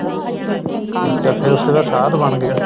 ਠੀਕ ਏ ਫੇਰ ਉਸ ਤੇ ਬਾਅਦ ਸਾਧ ਬਣ ਗਿਆ